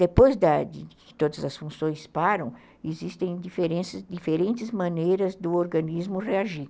Depois da, que todas as funções param, existem diferentes maneiras do organismo reagir.